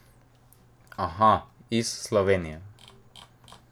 Aha, iz Slovenije.